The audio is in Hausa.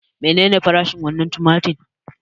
Menene farashin wannan tumatir?